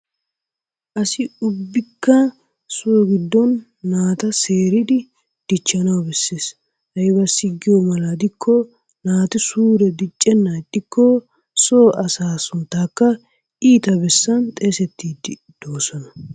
Asi ubbikka so giddon naata seeridi dichchanaw koshshees aybbissi giyaaba gidikko naati suure dicccenan ixxikko so asaa sunttakka iitta bessan xeesettidi doosona.